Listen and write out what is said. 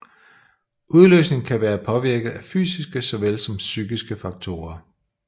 Udløsning kan være påvirket af fysiske såvel som psykiske faktorer